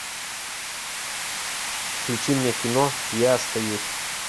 включи мне кино я остаюсь